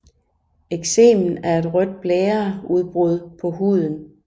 Eksemen er et rødt blære udbrud på huden